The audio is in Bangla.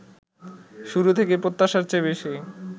শুরু থেকেই প্রত্যাশার চেয়ে বেশি